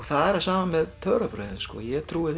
það sama með töfrabrögðin ég trúi